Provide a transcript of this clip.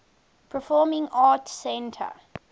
performing arts center